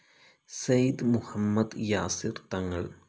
Syed Muhammad Yasir Thangal,